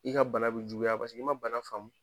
I ka bana be juguya paseke i ma bana faamu.